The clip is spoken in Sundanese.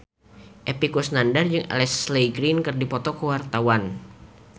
Epy Kusnandar jeung Ashley Greene keur dipoto ku wartawan